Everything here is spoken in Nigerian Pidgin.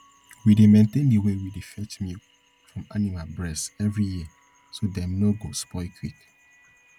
we dey maintain de way we dey fetch milk from animal breast every year so dem nor go spoil quick